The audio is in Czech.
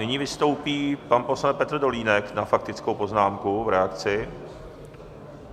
Nyní vystoupí pan poslanec Petr Dolínek na faktickou poznámku v reakci.